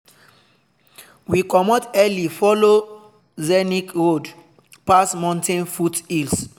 we comot early follow scenic road pass mountain foothills.